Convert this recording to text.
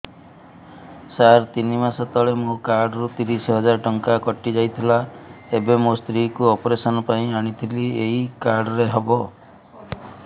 ସାର ତିନି ମାସ ତଳେ ମୋ କାର୍ଡ ରୁ ତିରିଶ ହଜାର ଟଙ୍କା କଟିଯାଇଥିଲା ଏବେ ମୋ ସ୍ତ୍ରୀ କୁ ଅପେରସନ ପାଇଁ ଆଣିଥିଲି ଏଇ କାର୍ଡ ରେ ହବ